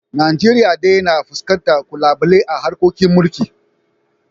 Najeriya dai na fuskantar ƙalubale a harkokin mulkin